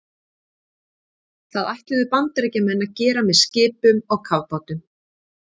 Það ætluðu Bandaríkjamenn að gera með skipum og kafbátum.